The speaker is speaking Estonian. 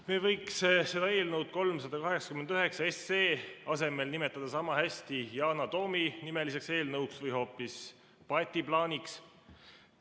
Me võiks seda eelnõu 389 SE asemel nimetada samahästi Yana Toomi nimeliseks eelnõuks või hoopis Paeti plaaniks.